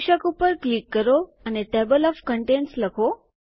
શીર્ષક ઉપર ક્લિક કરો અને ટેબલ ઓએફ કન્ટેન્ટ્સ લખો